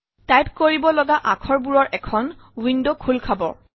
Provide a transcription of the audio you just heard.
type কৰিব লগা আখৰ বোৰৰ এখন ৱিণ্ডৱ খোল খাব